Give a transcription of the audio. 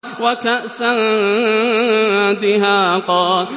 وَكَأْسًا دِهَاقًا